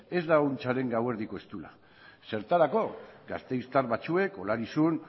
ez dago ahuntzaren gauerdiko eztula zertarako gasteiztar batzuek olarizun